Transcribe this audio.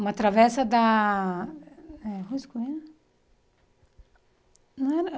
Uma travessa da eh... Rua Escoveiro? Não era